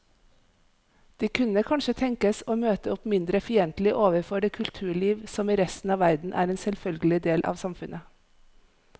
De kunne kanskje tenkes å møte opp mindre fiendtlige overfor det kulturliv som i resten av verden er en selvfølgelig del av samfunnet.